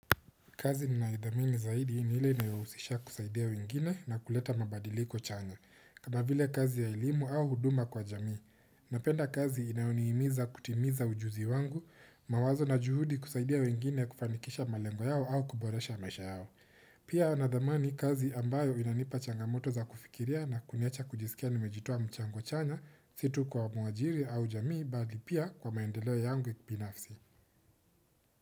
Kazi ninayodhamini zaidi ni ile inayohusisha kusaidia wengine na kuleta mabadiliko chanya. Kana vile kazi ya elimu au huduma kwa jamii. Napenda kazi inayonihimiza kutimiza ujuzi wangu, mawazo na juhudi kusaidia wengine kufanikisha malengo yao au kuboresha maisha yao. Pia nadhamani kazi ambayo inanipa changamoto za kufikiria na kuniacha kujisikia nimejitoa mchango chanya si tu kwa mwajiri au jamii bali pia kwa maendeleo yangu ya kipinafsi.